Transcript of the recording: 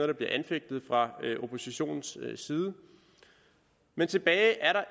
der bliver anfægtet fra oppositionens side men tilbage er der